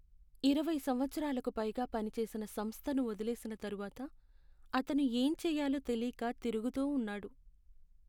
ఇరవై సంవత్సరాలకు పైగా పనిచేసిన సంస్థను వదిలేసిన తరువాత, అతను ఏంచేయాలో తెలీక తిరుగుతూ ఉన్నాడు.